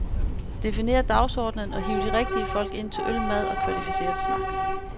Definér dagsordenen og hiv de rigtige folk ind til øl, mad og kvalificeret snak.